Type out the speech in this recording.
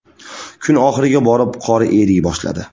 Kun oxiriga borib qor eriy boshladi.